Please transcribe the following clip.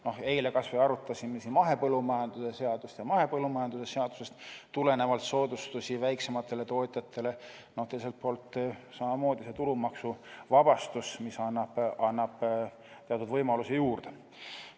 No eile kas või arutasime siin mahepõllumajanduse seadust ja mahepõllumajanduse seadusest tulenevalt soodustusi väiksematele tootjatele, teiselt poolt annab see tulumaksuvabastus teatud võimalusi juurde.